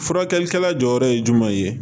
Furakɛlikɛla jɔyɔrɔ ye jumɛn ye